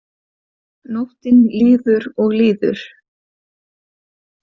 Nóttin líður og líður.